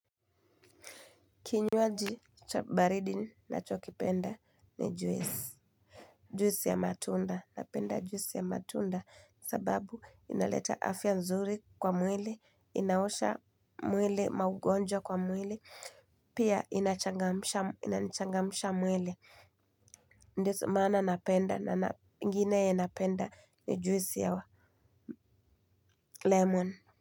Kinywaji cha baridi nachokipenda ni juisi juisi ya matunda, napenda juisi ya matunda, sababu inaleta afya nzuri kwa mwili, inaosha mwili maugonjwa kwa mwili, pia inanichangamsha mwili ndo maana napenda na ingine napenda ni juisi ya lemon.